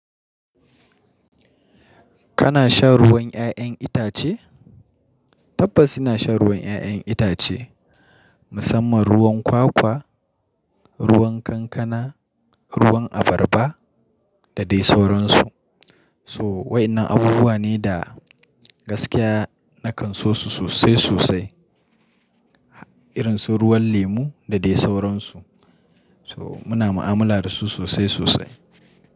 Kana shan ruwan ƴaƴan itace? Tabbas ina shan ruwan ƴaƴen itace, musamman ruwan kwakwa, ruwan kankana, ruwan abarba da dai sauransu. So wa inan abubuwa ne da gaskiya na kanso su sosai sosai. Irin su ruwan lemu da dai sauransu. To muna mu'amala dasu sosai sosai.